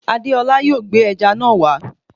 Adéọlá yóò gbé ẹja náà wá